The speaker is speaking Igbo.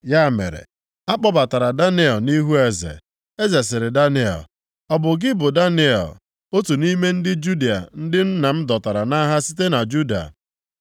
Ya mere, a kpọbatara Daniel nʼihu eze, eze sịrị Daniel, “Ọ bụ gị bụ Daniel, otu nʼime ndị Juda, ndị nna m dọtara nʼagha site na Juda?